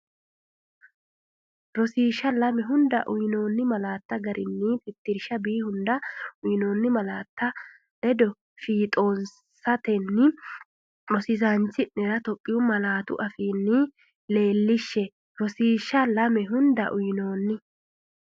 Rosiishsha Lame hunda uyinoonni malaattara gari tittirsha“B”hunda uyinoonni laatta ledo Fiixoonsatenni rosiisaanchi’nera Itophiyu malaatu afiinni leellishshe Rosiishsha Lame hunda uyinoonni.